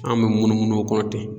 An bɛ munumunu o kɔ ten